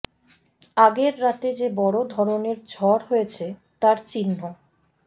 আগের রাতে যে বড় ধরনের ঝড় হয়েছে তার চিহ্ন